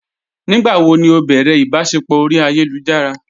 Nígbàwó ni ó bẹ̀rẹ̀ ìbàṣẹpọ̀ orí ayélujára?